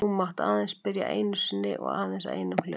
Þú mátt aðeins spyrja einu sinni og aðeins að einum hlut.